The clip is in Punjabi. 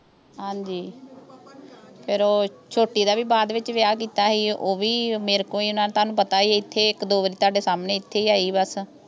ਹਾਂਜੀ ਫੇਰ ਓਹ ਛੋਟੀ ਦਾ ਵੀ ਬਾਅਦ ਚ ਵਿਆਹ ਕੀਤਾ ਸੀ ਓਹ ਵੀ ਮੇਰੇ ਕੋਲ ਹੀ ਨਾ ਤੁਹਾਨੂੰ ਪਤਾ ਹੀ ਐਥੇ ਇੱਕ ਦੋ ਵਾਰੀ ਤੁਹਾਡੇ ਸਾਹਮਣੇ ਐਥੇ ਹੀ ਆਈ ਬਸ